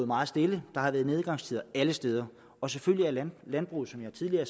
meget stille der har været nedgangstider alle steder og selvfølgelig er landbruget som jeg tidligere